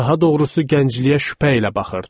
Daha doğrusu gəncliyə şübhə ilə baxırdı.